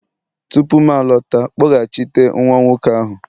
tupu m alọta, kpọghachite nwa nwoke ahụ!